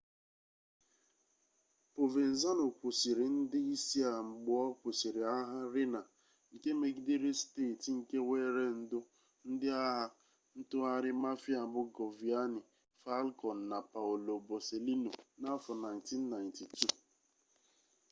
povenzano kwụsịrị ndị isi a mgbe ọ kwụsịrị agha riina nke megidere steeti nke weere ndụ ndị agha ntụgharị mafia bụ giovanni falkon na paolo borsellino n'afọ 1992